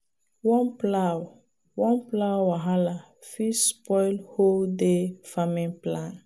one plow one plow wahala fit spoil whole day farming plan.